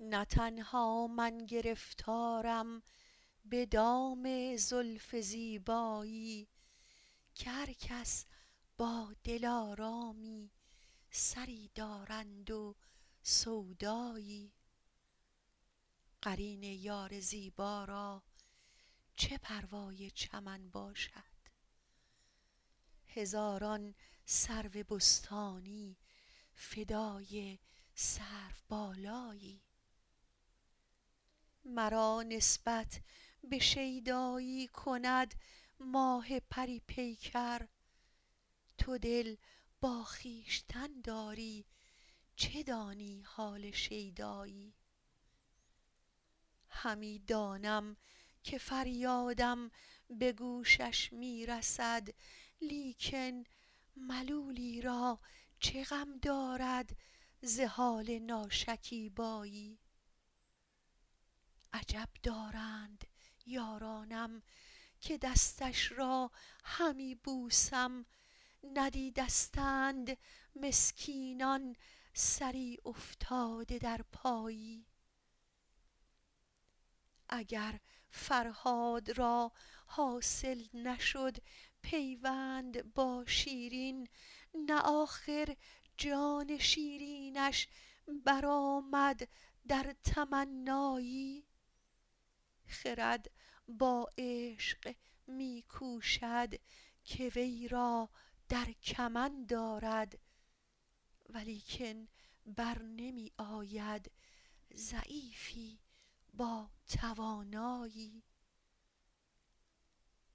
نه من تنها گرفتارم به دام زلف زیبایی که هر کس با دلآرامی سری دارند و سودایی قرین یار زیبا را چه پروای چمن باشد هزاران سرو بستانی فدای سروبالایی مرا نسبت به شیدایی کند ماه پری پیکر تو دل با خویشتن داری چه دانی حال شیدایی همی دانم که فریادم به گوشش می رسد لیکن ملولی را چه غم دارد ز حال ناشکیبایی عجب دارند یارانم که دستش را همی بوسم ندیدستند مسکینان سری افتاده در پایی اگر فرهاد را حاصل نشد پیوند با شیرین نه آخر جان شیرینش برآمد در تمنایی خرد با عشق می کوشد که وی را در کمند آرد ولیکن بر نمی آید ضعیفی با توانایی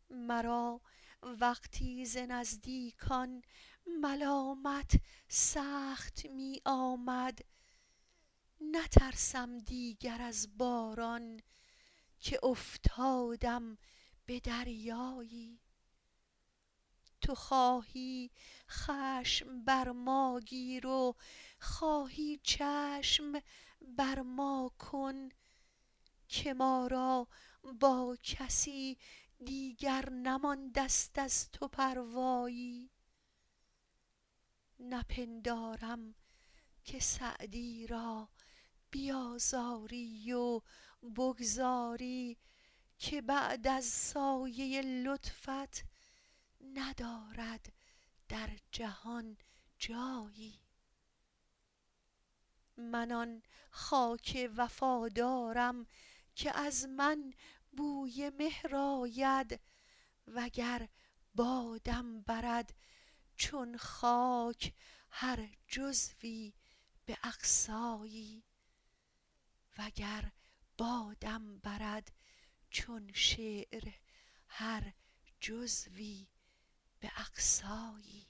مرا وقتی ز نزدیکان ملامت سخت می آمد نترسم دیگر از باران که افتادم به دریایی تو خواهی خشم بر ما گیر و خواهی چشم بر ما کن که ما را با کسی دیگر نمانده ست از تو پروایی نپندارم که سعدی را بیآزاری و بگذاری که بعد از سایه لطفت ندارد در جهان جایی من آن خاک وفادارم که از من بوی مهر آید و گر بادم برد چون شعر هر جزوی به اقصایی